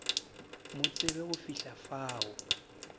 mo tsebe go fihla fao